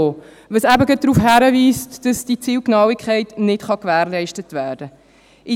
Das weist eben gerade darauf hin, dass die Zielgenauigkeit nicht gewährleistet werden kann.